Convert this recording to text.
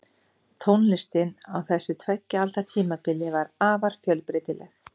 Tónlistin á þessu tveggja alda tímabili var afar fjölbreytileg.